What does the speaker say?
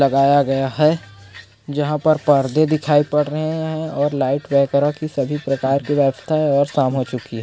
--लगाय गया है जहाँ पर पर्दे दिखाई पड़ रहे है और लाइट वेपरा की सभी प्रकार की बैठता है और शाम हो चुकी हैं।